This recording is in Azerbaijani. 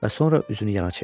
Və sonra üzünü yana çevirdi.